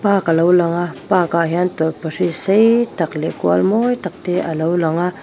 lak alo lang a park ah hian tawlhpahrit sei tak leh kual mawi tak te alo lang a.